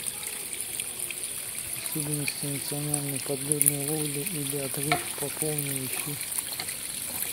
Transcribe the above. особенности национальной подледной ловли или отрыв по полной ищи